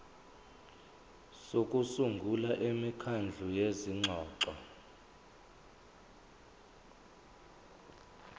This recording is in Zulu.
sokusungula imikhandlu yezingxoxo